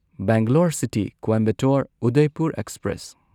Bangalore city Coimbatore Udaipur express